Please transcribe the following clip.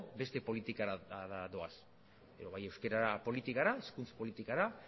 beste politika batzuei doaz bai euskara politikara hizkuntza politikara